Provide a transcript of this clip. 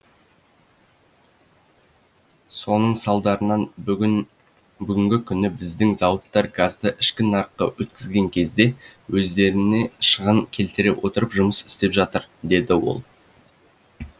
соның салдарынан бүгінгі күні біздің зауыттар газды ішкі нарыққа өткізген кезде өздеріне шығын келтіре отырып жұмыс істеп жатыр деді ол